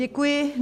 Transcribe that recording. Děkuji.